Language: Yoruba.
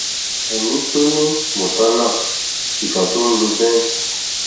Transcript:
ẹmí tọnì mọtánà ìkà tó ń lo benz